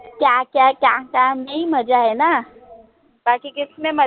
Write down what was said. क्याक्याक्याक्यामेहीमजाहैनाबाकीकिसमेमजा